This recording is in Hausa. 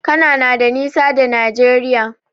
Cana na da nisa da Nigeria.